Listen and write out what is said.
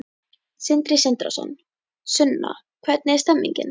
Sindri Sindrason: Sunna, hvernig er stemningin?